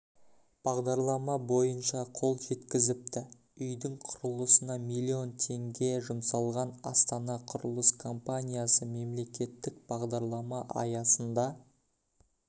бағдарлама бойынша қол жеткізіпті үйдің құрылысына млн теңге жұмсалған астана құрылыс компаниясы мемлекеттік бағдарлама аясында